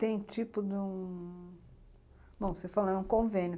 Tem tipo de um... Bom, você falou, é um convênio.